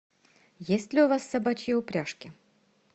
есть ли у вас собачьи упряжки